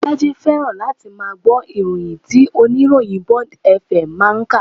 Bolaji fẹ́ràn láti máa gbọ́ ìròyìn tí oníròyìn Bond FM máa ń kà